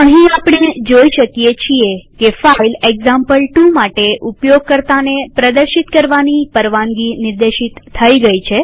અહીં આપણે જોઈ શકીએ છીએ કે ફાઈલ એક્ઝામ્પલ2 માટે ઉપયોગકર્તાને પ્રદર્શિત કરવાની પરવાનગી નિર્દેશિત થઇ ગઈ છે